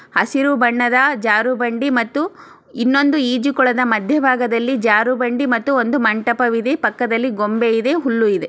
ಹಸಿರೂ ಬಣ್ಣದ ಜಾರು ಬಂಡಿ ಮತ್ತು ಇನ್ನೊಂದು ಈಜುಕೊಳದ ಮಧ್ಯ ಭಾಗದಲ್ಲಿ ಜಾರು ಬಂಡಿ ಮತ್ತು ಒಂದು ಮಂಟಪ ಇದೆ. ಪಕ್ಕದಲಿ ಗೂಂಬೆ ಇದೆ ಹುಲ್ಲು ಇದೆ.